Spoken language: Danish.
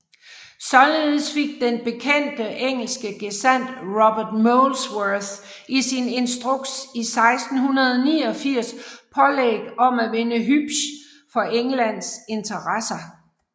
Således fik den bekendte engelske gesandt Robert Molesworth i sin instruks 1689 pålæg om at vinde Hübsch for Englands interesser